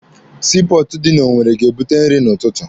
Sii pọọtụ dị na Owere ga-ebute nri n'ụtụtụ.